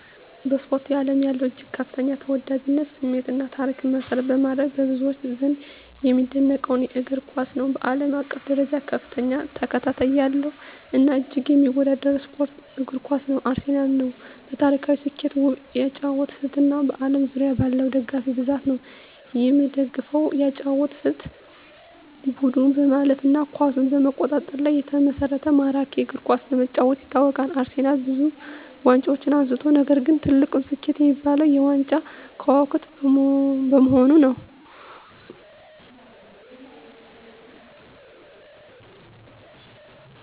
በስፖርት አለም ያለውን እጅግ ከፍተኛ ተወዳጅነት፣ ስሜት እና ታሪክ መሰረት በማድረግ፣ በብዙዎች ዘንድ የሚደነቀውን እግር ኳስን ነው። በአለም አቀፍ ደረጃ ከፍተኛ ተከታታይ ያለው እና እጅግ የሚወደደው ስፖርት እግር ኳስ ነው። አርሴናል ነው። በታሪካዊ ስኬቱ፣ ውብ የአጨዋወት ስልቱ እና በአለም ዙሪያ ባለው ደጋፊ ብዛት ነው። የምደፈው የአጨዋወት ስልት : ቡድኑ በማለፍ እና ኳስን በመቆጣጠር ላይ የተመሰረተ ማራኪ እግር ኳስ በመጫወቱ ይታወቃል። አርሴናልብዙ ዋንጫዎችን አንስቷል፣ ነገር ግን ትልቁ ስኬቱ የሚባለው -የ ዋንጫዎች ክዋክብት በመሆኑ ነዉ።